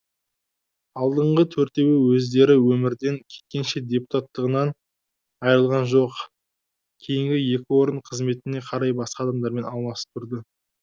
алдыңғы төртеуі өздері өмірден кеткенше депутаттығынан айырылған жоқ кейінгі екі орын қызметіне қарай басқа адамдармен алмасып тұрды